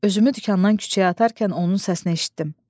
Özümü dükandan küçəyə atarkən onun səsini eşitdim.